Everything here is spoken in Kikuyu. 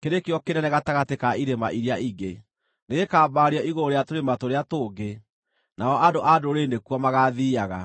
kĩrĩ kĩo kĩnene gatagatĩ ka irĩma iria ingĩ; nĩgĩkambarario igũrũ rĩa tũrĩma tũrĩa tũngĩ, nao andũ a ndũrĩrĩ nĩkuo magaathiiaga.